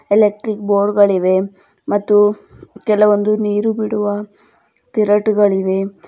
Electric board ಗಳಿವೆ ಮತ್ತು ಕೆಲವೊಂದು ನೀರು ಬಿಡುವ ತಿರಟುಗಳಿವೆ.